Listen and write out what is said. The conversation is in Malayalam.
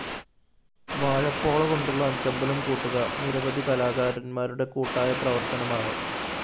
വാഴപ്പോളകൊണ്ടുള്ള അഞ്ചമ്പലം കൂട്ടുക നിരവധി കലാകാരന്മാരുടെ കൂട്ടായ പ്രവര്‍ത്തനമാണ്